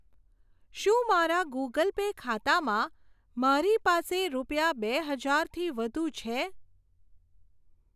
શું મારા Google Pay ખાતામાં મારી પાસે રૂપિયા બે હજાર થી વધુ છે?